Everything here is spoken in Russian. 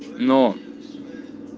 но